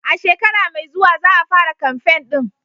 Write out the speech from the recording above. A shekara mai zuwa za a fara kamfen ɗin.